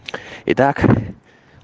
итак